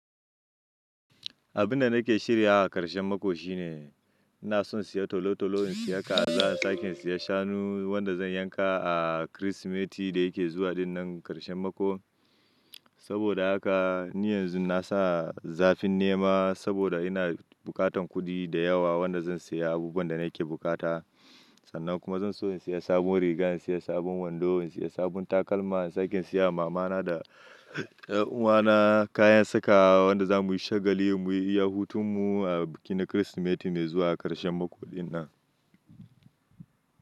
Abun da nake shirya a karshen mako shine ina son siya tolo-toloin siyayya, zan sake siya shanu wanda zan yanka a kirismeti da yake zuwa dinnan karshen mako. Saboda haka ni yanzu nasa zafin nema saboda ina bukatan kudi da yawa wanda zan siya abubuwan da nake bukata. Sannan kuma zan so in siya sabon riga, in siya sabon wando, in siya sabon takalma. Zan sake siya wa mama na da uwa na kayan saka wanda zamu yi shagali mu yi iyahutan mu a biki na kirismeti mai zuwa a karshen mako dinnan.